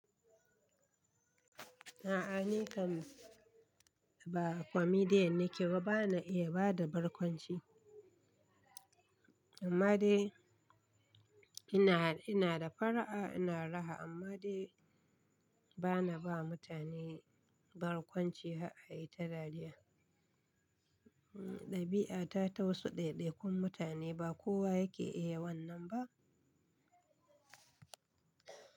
A'a ni kam ba comedian nike ba, bana iya bada barkwanci amma dai ina, ina da fara'a, ina raha amma dai bana ba mutane barkwanci har a yi ta dariya. Hmm, ɗabi'ata ta wasu ɗaiɗaikun mutane ba kowa yake iya wannan ba.